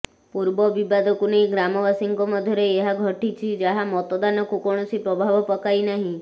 ପୂର୍ବ ବିବାଦକୁ ନେଇ ଗ୍ରାମବାସୀଙ୍କ ମଧ୍ୟରେ ଏହା ଘଟିଛି ଯାହା ମତଦାନକୁ କୌଣସି ପ୍ରଭାବ ପକାଇନାହିଁ